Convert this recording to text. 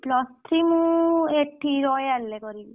Plus three ମୁଁ ଏଠି royal ରେ କରିବି।